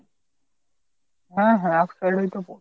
হা হা এক side এই তো পড়বে।